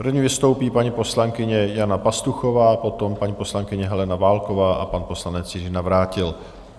První vystoupí paní poslankyně Jana Pastuchová, potom paní poslankyně Helena Válková a pan poslanec Jiří Navrátil.